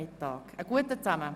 Einen guten Appetit!